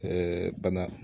bana